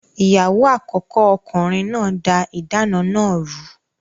Ìyàwó àkọ́kọ́ ọkùnrin náà da ìdáná náà rù ú.